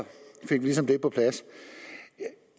fik vi ligesom det på plads